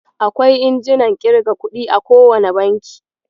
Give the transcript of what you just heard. Akwai injinan ƙirga kuɗi a kowane banki.